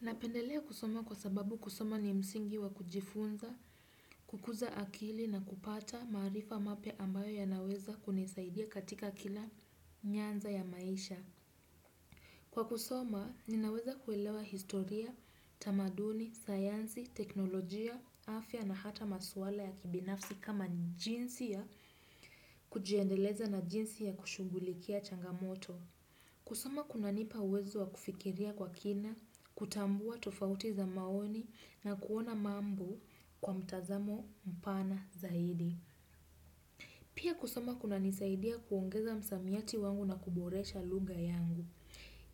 Napendelea kusoma kwa sababu kusoma ni msingi wa kujifunza, kukuza akili na kupata maarifa mapya ambayo yanaweza kunisaidia katika kila nyanza ya maisha. Kwa kusoma, ninaweza kuelewa historia, tamaduni, sayansi, teknolojia, afya na hata maswala ya kibinafsi kama jinsi ya kujiendeleza na jinsi ya kushughulikia changamoto. Kusoma kunanipa uwezo wa kufikiria kwa kina, kutambua tofauti za maoni na kuona mambo kwa mtazamo mpana zaidi. Pia kusoma kunanisaidia kuongeza msamiati wangu na kuboresha lugha yangu.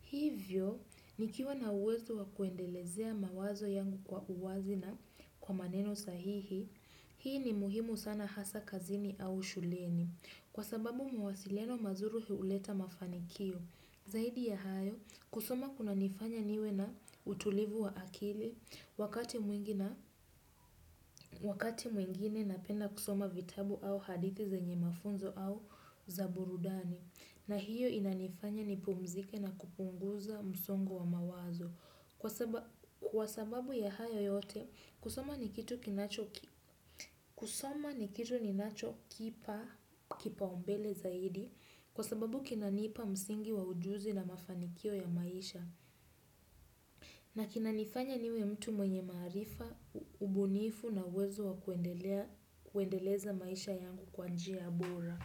Hivyo, nikiwa na uwezo wa kuendelezea mawazo yangu kwa uwazi na kwa maneno sahihi, hii ni muhimu sana hasa kazini au shuleni. Kwa sababu mawasiliano mazuri huleta mafanikio, zaidi ya hayo kusoma kunanifanya niwe na utulivu wa akili wakati mwingine napenda kusoma vitabu au hadithi zenye mafunzo au za burudani na hiyo inanifanya nipumzike na kupunguza msongo wa mawazo. Kwa sababu ya hayo yote, kusoma ni kitu ninachokipa kipaumbele zaidi kwa sababu kinanipa msingi wa ujuzi na mafanikio ya maisha. Na kinanifanya niwe mtu mwenye maarifa, ubunifu na uwezo wa kuendeleza maisha yangu kwa njia bora.